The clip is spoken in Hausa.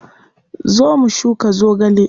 Zo mu shuka zogale.